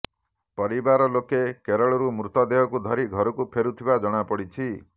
ପରିବାର ଲୋକେ କେରଳରୁ ମୃତଦେହକୁ ଧରି ଘରକୁ ଫେରୁଥିବା ଜଣାପଡ଼ିଛି